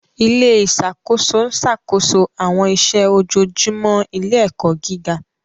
Ilé ìṣàkóso ń ṣàkóso àwọn iṣẹ́ ojoojúmọ́ ilé-ẹ̀kọ́ gíga.